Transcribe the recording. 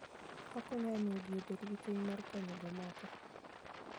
Okonyo e miyo ji obed gi chuny mar konyo jomoko.